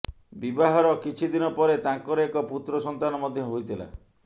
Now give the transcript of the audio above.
ବିବାହର କିଛିଦିନ ପରେ ତାଙ୍କର ଏକ ପୁତ୍ର ସନ୍ତାନ ମଧ୍ୟ ହୋଇଥିଲା